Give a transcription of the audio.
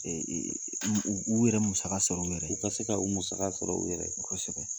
u u yɛrɛ musaka sɔrɔ u yɛrɛ ye u ka se ka u musaka sɔrɔ u yɛrɛ ye kosɛbɛ.